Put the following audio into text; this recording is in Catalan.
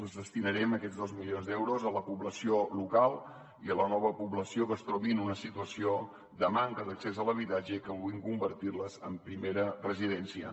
els destinarem aquests dos milions d’euros a la població local i a la nova població que es trobi en una situació de manca d’accés a l’habitatge i que vulguin convertir les en primera residència